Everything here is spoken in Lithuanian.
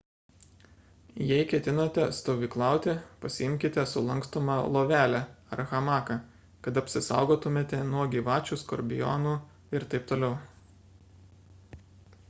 jei ketinate stovyklauti pasiimkite sulankstomą lovelę ar hamaką kad apsisaugotumėte nuo gyvačių skorpionų ir t t